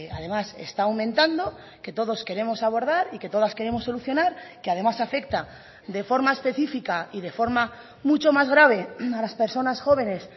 además está aumentando que todos queremos abordar y que todas queremos solucionar que además afecta de forma específica y de forma mucho más grave a las personas jóvenes